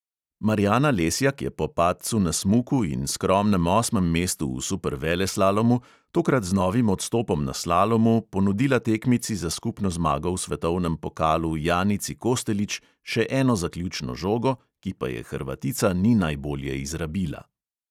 Marjana lesjak je po padcu na smuku in skromnem osmem mestu v superveleslalomu tokrat z novim odstopom na slalomu ponudila tekmici za skupno zmago v svetovnem pokalu janici kostelić še eno zaključno žogo, ki pa je hrvatica ni najbolje izrabila.